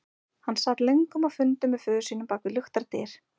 Hann sat löngum á fundum með föður sínum bak við luktar dyr.